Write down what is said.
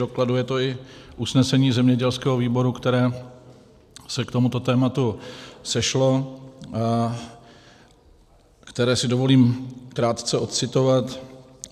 Dokladuje to i usnesení zemědělského výboru, které se k tomuto tématu sešlo, které si dovolím krátce ocitovat.